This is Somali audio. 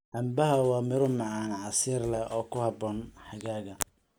Canbaha waa miro macaan, casiir leh oo ku habboon xagaaga.